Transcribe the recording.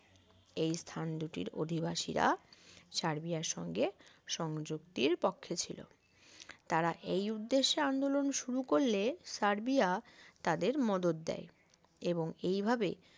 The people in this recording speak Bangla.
এই স্থান দুটির অধিবাসীরা সার্বিয়ার সঙ্গে সংযুক্তির পক্ষে ছিল তারা এই উদ্দেশ্যে আন্দোলন শুরু করলে সার্বিয়া তাদের মদদ দেয় এবং এইভাবে